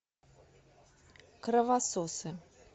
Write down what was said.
кровососы